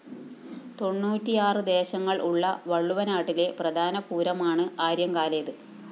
തെണ്ണൂറ്റിയാറ് ദേശങ്ങള്‍ ഉള്ള വള്ളുവനാട്ടിലെ പ്രധാന പൂരമാണ് ആര്യങ്കാലേത്